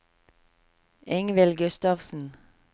Ingvild Gustavsen